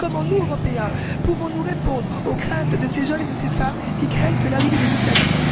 Comment nous, Européens, pouvons nous répondre aux craintes de ces jeunes et de ces femmes qui craignent que l'arrivée des islamistes